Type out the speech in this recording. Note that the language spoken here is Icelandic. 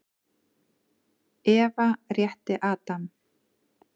Eva rétti Adam.